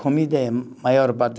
Comida é maior parte.